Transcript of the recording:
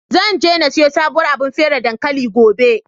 Zan je na siyo sabuwar abar feraye dankali, gobe.